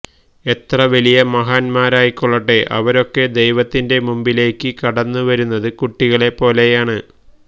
എത്ര വലിയ മഹാന്മാരുമായിക്കൊള്ളട്ടെ അവരൊക്കെ ദൈവത്തിന്റെ മുമ്പിലേക്ക്കടന്നുവരുന്നത് കുട്ടികളെ പോലെയാണ്